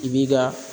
I b'i ka